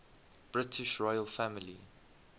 british royal family